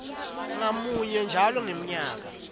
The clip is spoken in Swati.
ngamunye njalo ngemnyaka